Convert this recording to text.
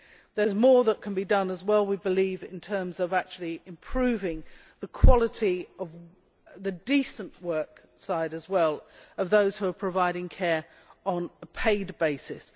There is more that can be done as well, we believe, in terms of actually improving the quality, the decent work side, of those who are providing care on a paid basis.